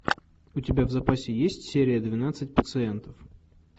у тебя в запасе есть серия двенадцать пациент